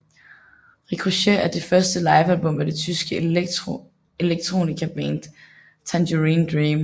Ricochet er det første livealbum af det tyske electronicaband Tangerine Dream